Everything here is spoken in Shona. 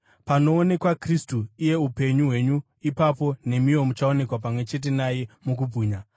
Panoonekwa Kristu, iye upenyu hwenyu, ipapo nemiwo muchaonekwa pamwe chete naye mukubwinya.